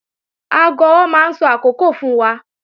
Aago ọwọ́ máa ń sọ àkókò fún wa